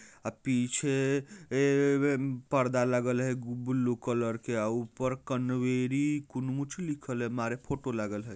ऐ पीछे ऐ--पर्दा लगल है ब्लू कलर के और ऊपर कनवेरी कनुुच्छ लिखल है मारे को लगल हइ।